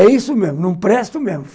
É isso mesmo, não presto mesmo.